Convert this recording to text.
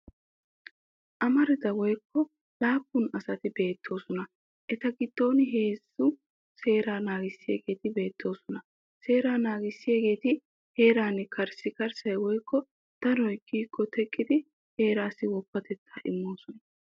Amarida woykko laappun asati beettoosona. Eta giddon heezzu seeraa naagissiyaageeti beettoosona. Seera naagissiyaageeti heeran karssikarssay woykko danoy kiyikko teqqidi heerassi woppatettaa immoosona.